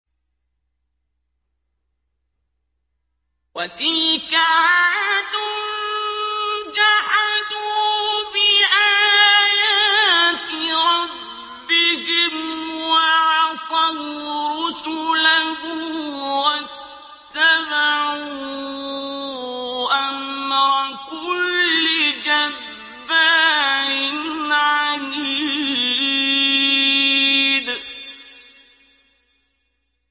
وَتِلْكَ عَادٌ ۖ جَحَدُوا بِآيَاتِ رَبِّهِمْ وَعَصَوْا رُسُلَهُ وَاتَّبَعُوا أَمْرَ كُلِّ جَبَّارٍ عَنِيدٍ